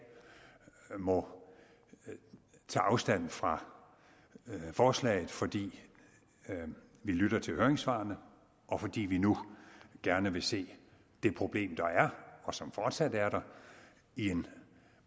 må tage afstand fra forslaget fordi vi lytter til høringssvarene og fordi vi nu gerne vil se det problem der er og som fortsat er der i en